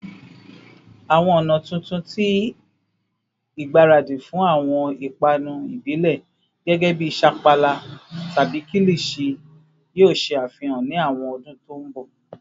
Awọn ọna tuntun ti igbaradi fun awọn ipanu ibile gẹgẹbi sapala tabi kilichi yoo ṣe afihan ni awọn ọdun to nbo?